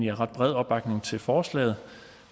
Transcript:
er ret bred opbakning til forslaget